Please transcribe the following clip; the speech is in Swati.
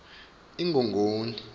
ingongoni